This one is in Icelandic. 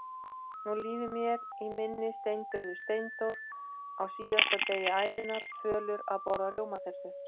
Nú líður mér í minni steindauður Steindór, á síðasta degi ævinnar, fölur að borða rjómatertu.